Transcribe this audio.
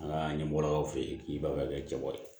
An ka ɲɛmɔgɔ fe yen k'i b'a kɛ cɛbari ye